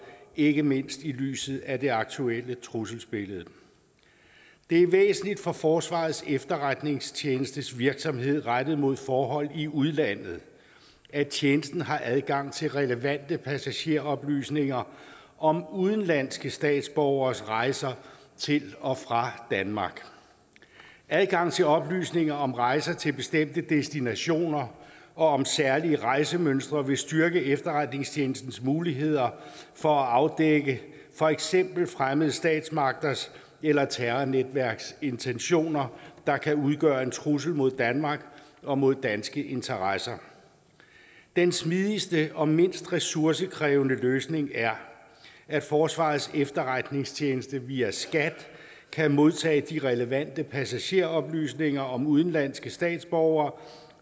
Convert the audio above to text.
ikke mindst set i lyset af det aktuelle trusselsbillede det er væsentligt for forsvarets efterretningstjenestes virksomhed rettet mod forhold i udlandet at tjenesten har adgang til relevante passageroplysninger om udenlandske statsborgeres rejser til og fra danmark adgang til oplysninger om rejser til bestemte destinationer og om særlige rejsemønstre vil styrke efterretningstjenestens muligheder for at afdække for eksempel fremmede statsmagters eller terrornetværks intentioner der kan udgøre en trussel mod danmark og mod danske interesser den smidigste og mindst ressourcekrævende løsning er at forsvarets efterretningstjeneste via skat kan modtage de relevante passageroplysninger om udenlandske statsborgere